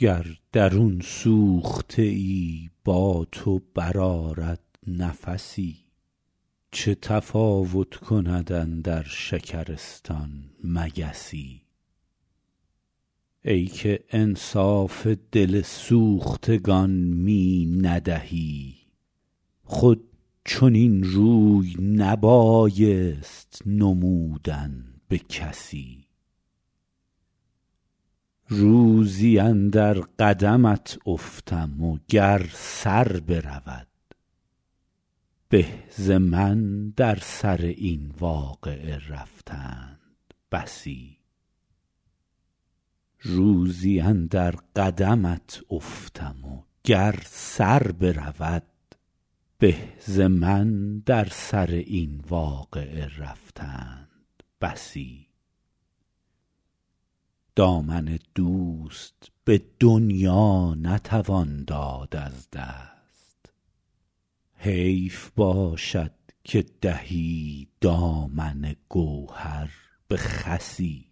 گر درون سوخته ای با تو برآرد نفسی چه تفاوت کند اندر شکرستان مگسی ای که انصاف دل سوختگان می ندهی خود چنین روی نبایست نمودن به کسی روزی اندر قدمت افتم و گر سر برود به ز من در سر این واقعه رفتند بسی دامن دوست به دنیا نتوان داد از دست حیف باشد که دهی دامن گوهر به خسی